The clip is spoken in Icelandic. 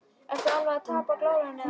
Ertu alveg að tapa glórunni eða hvað!